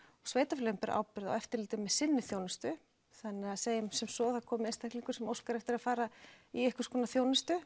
sveitarfélögin bera ábyrgð með eftirliti á sinni þjónustu þannig segjum sem svo að það komi einstaklingur sem óskar eftir að fara í einhvers konar þjónustu